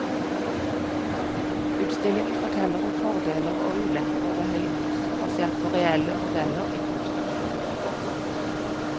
Utstillingen forteller om fordeler og ulemper ved høyhus, basert på reelle modeller i konstruksjon og form.